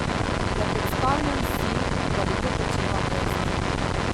Ne predstavljam si, da bi to počela brez nje.